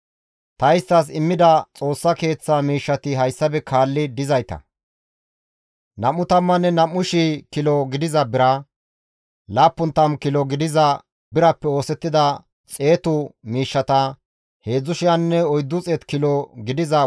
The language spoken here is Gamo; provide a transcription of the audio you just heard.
Ta isttas immida Xoossa Keeththa miishshati hayssafe kaalli dizayta; 22,000 kilo gidiza bira, 70 kilo gidiza birappe oosettida xeetu miishshata, 3,400 kilo gidiza worqqa;